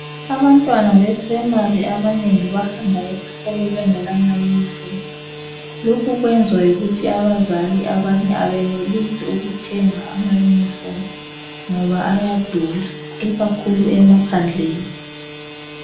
Abantwana beprimary abanengi bahamba esikolo bengena ma uniform lokhu kwenziwa yikuthi abazali abanye abenelisi ukuthenga ama uniform ngoba ayadula ikakhulu emaphandleni.